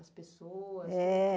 As pessoas?